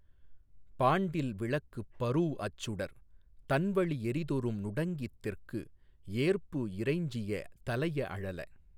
பாண்டில் விளக்குப் பரூஅச்சுடர் தண்வளி எறிதொறும் நுடங்கித் தெற்கு ஏர்பு இறைஞ்சிய தலைய அழல